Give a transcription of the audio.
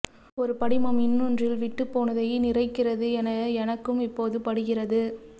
ஒரு படிமம் இன்னொன்றில் விட்டுப்போனதை நிறைக்கிறது என எனக்கும் இப்போது படுகிறது